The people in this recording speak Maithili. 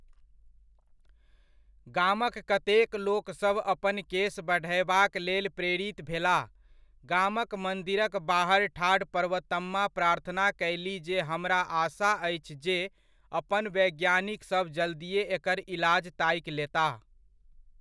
गामक कतेक लोकसभ अपन केश बढ़यबाक लेल प्रेरित भेलाह, गामक मन्दिरक बाहरि ठाढ़ पर्वतम्मा प्रार्थना कयलीह जे हमरा आशा अछि जे अपन वैज्ञानिकसभ जल्दीये एकर इलाज ताकि लेताह।